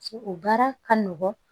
O baara ka nɔgɔn